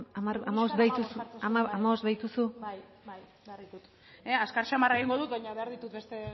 hamar dira hamabost behar dituzu bai bai behar ditut azkar xamar egingo dut baina behar ditut beste